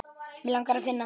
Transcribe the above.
Mig langar að finna þig.